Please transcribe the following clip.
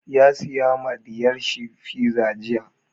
Ya saya ma ɗiyar shi fiza jiya.